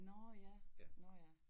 Nårh ja nårh ja